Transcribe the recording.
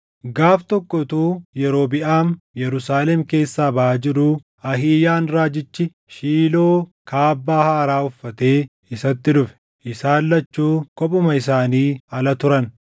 Gaaf tokko utuu Yerobiʼaam Yerusaalem keessaa baʼaa jiruu Ahiiyaan raajichi Shiiloo kaabbaa haaraa uffatee isatti dhufe. Isaan lachuu kophuma isaanii ala turan;